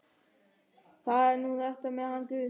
Það er nú þetta með hann guð.